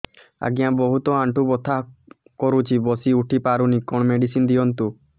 ଆଜ୍ଞା ବହୁତ ଆଣ୍ଠୁ ବଥା କରୁଛି ବସି ଉଠି ପାରୁନି କଣ ମେଡ଼ିସିନ ଦିଅନ୍ତୁ